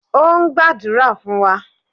O ń gbadura fun wa.